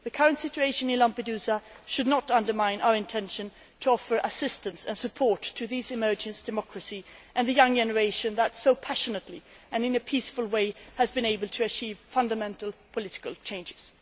The current situation in Lampedusa should not undermine our intention to offer assistance and support to these emerging democracies and the young generation that so passionately and peacefully has been able to achieve fundamental political changes.